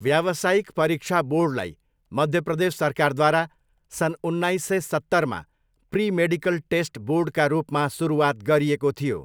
व्यावसायिक परीक्षा बोर्डलाई मध्य प्रदेश सरकारद्वारा सन् उन्नाइस सय सत्तरमा प्री मेडिकल टेस्ट बोर्डका रूपमा सुरुवात गरिएको थियो।